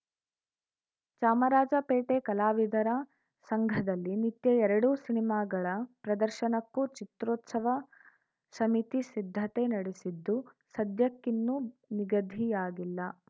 ಚಾಮರಾಜಪೇಟೆ ಕಲಾವಿದರ ಸಂಘದಲ್ಲಿ ನಿತ್ಯ ಎರಡು ಸಿನಿಮಾಗಳ ಪ್ರದರ್ಶನಕ್ಕೂ ಚಿತ್ರೋತ್ಸವ ಸಮಿತಿ ಸಿದ್ಧತೆ ನಡೆಸಿದ್ದು ಸದ್ಯಕ್ಕಿನ್ನು ನಿಗಧಿಯಾಗಿಲ್ಲ